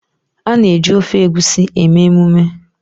A na-eji ofe Egusi eme emume